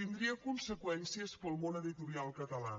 tindria conseqüències per al món editorial català